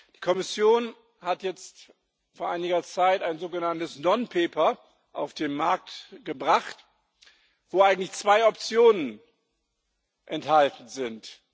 Die Kommission hat jetzt vor einiger Zeit ein sogenanntes Non Paper auf den Markt gebracht, wo eigentlich zwei Optionen enthalten sind.